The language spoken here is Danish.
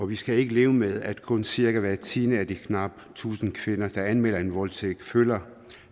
vi skal ikke leve med at kun cirka hver tiende af de knap tusind kvinder der anmelder en voldtægt føler